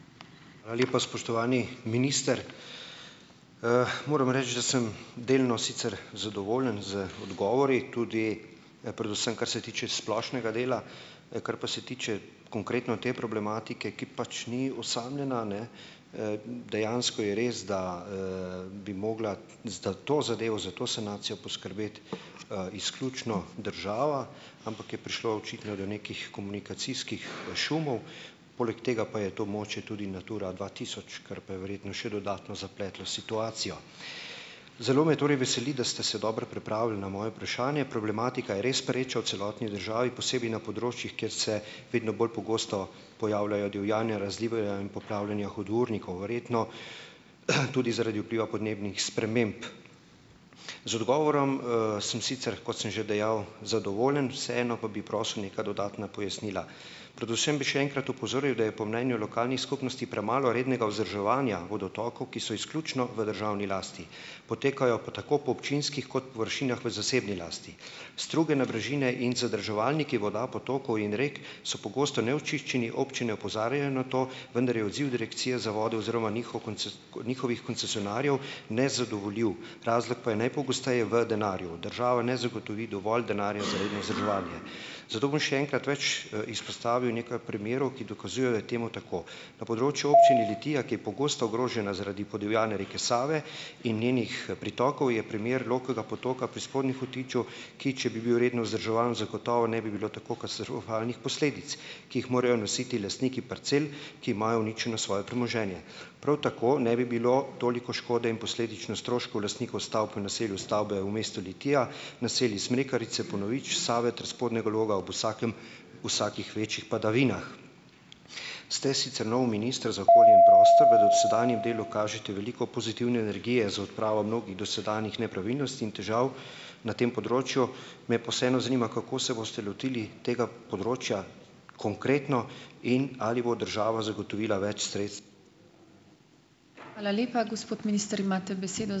Hvala lepa, spoštovani minister. moram reči, da sem delno sicer zadovoljen z odgovori, tudi predvsem, kar se tiče splošnega dela. kar pa se tiče konkretno te problematike, ki pač ni osamljena, ne, dejansko je res, da, bi mogla zdaj to zadevo, za to sanacijo poskrbeti izključno država, ampak je prišlo očitno do nekih komunikacijskih šumov. Poleg tega pa je to območje tudi Natura dva tisoč, kar pa je verjetno še dodatno zapletlo situacijo. Zelo me torej veseli, da ste se dobro pripravili na moje vprašanje. Problematika je res pereča v celoti državi, posebej na področjih, kjer se vedno bolj pogosto pojavljajo divjanja, razlivanja in poplavljanja hudournikov, verjetno tudi zaradi vpliva podnebnih sprememb. Z odgovorom, sem sicer, kot sem že dejal, zadovoljen, vseeno pa bi prosil neka dodatna pojasnila. Predvsem bi še enkrat opozoril, da je po mnenju lokalnih skupnosti premalo rednega vzdrževanja vodotokov, ki so izključno v državni lasti, potekajo pa tako po občinskih kot površinah v zasebni lasti. Struge, nabrežine in zadrževalniki voda, potokov in rek so pogosto neočiščeni, občine opozarjajo na to, vendar je odziv Direkcije za vodo oziroma njihov njihovih koncesionarjev nezadovoljiv, razlog pa je najpogosteje v denarju. Država ne zagotovi dovolj denarja za redno vzdrževanje. Zato bom še enkrat več, izpostavil nekaj primerov, ki dokazujejo, je temu tako. Na področju Občine Litija, ki je pogosto ogrožena zaradi podivjane reke Save in njenih pritokov, je primer Loškega potoka pri Spodnjem Hotiču, ki, če bi bil redno vzdrževan, zagotovo ne bi bilo tako katastrofalnih posledic, ki jih morajo nositi lastniki parcel, ki imajo uničeno svoje premoženje. Prav tako ne bi bilo toliko škode in posledično stroškov lastnikov stavb v naselju Stavbe v mestu Litija, naselji Smrekarice, Ponovič, Save ter Spodnjega Loga ob vsakem vsakih večjih padavinah. Ste sicer nov minister za okolje in prostor, v dosedanjem delu kažete veliko pozitivne energije za odpravo mnogih dosedanjih nepravilnosti in težav na tem področju, me pa vseeno zanima, kako se boste lotili tega področja konkretno in ali bo država zagotovila več